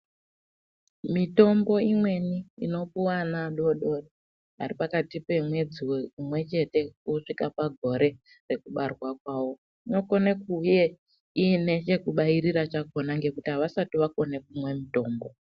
Mitombo imweni inopiwa ana adoodori ari pakati pemwedzi umwechete kusvika pagore rekubarwa kwawo unokone kunge iine chekubairira chakona ngenguti havasati vakukone kumwa mitombo.